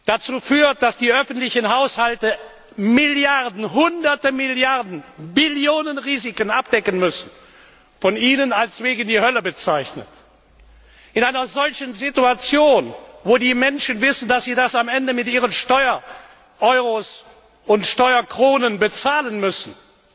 dazu führt, dass die öffentlichen Haushalte Milliarden, Hunderte Milliarden, Billionen Risiken abdecken müssen was von Ihnen als Weg in die Hölle bezeichnet wird in einer solchen Situation, in der die Menschen wissen, dass sie das am Ende mit ihren Steuer Euros und Steuer Kronen bezahlen müssen,